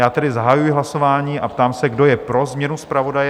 Já tedy zahajuji hlasování a ptám se, kdo je pro změnu zpravodaje?